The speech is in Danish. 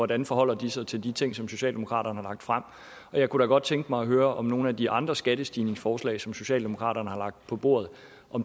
dem forholder sig til de ting som socialdemokratiet har lagt frem jeg kunne da godt tænke mig at høre om nogle af de andre skattestigningsforslag som socialdemokratiet har lagt på bordet